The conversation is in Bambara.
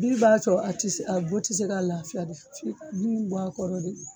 Bin b'a co a ti a bu te se ka lafiya de f'i ka bin bɔ a kɔrɔ de